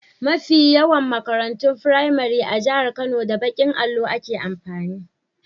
Mafi yawan makarantun firamari na jahar Kano, da baƙin allo ake amfani.